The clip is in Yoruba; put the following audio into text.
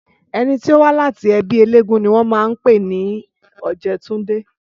Ẹni tó wá láti ẹbí eléégún ni wọ́n máa ń pè ní Ọ̀jẹ̀túndé